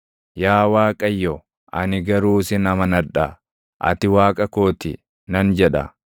Yaa Waaqayyo, ani garuu sin amanadha; “Ati Waaqa koo ti” nan jedha.